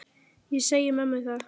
Ég segi mömmu það.